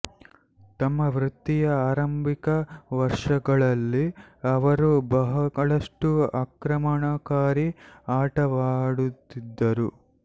ತಮ್ಮ ವೃತ್ತಿಯ ಆರಂಭಿಕ ವರ್ಷಗಳಲ್ಲಿ ಅವರು ಬಹಳಷ್ಟು ಅಕ್ರಮಣಕಾರಿ ಆಟವಾಡುತ್ತಿದ್ದರು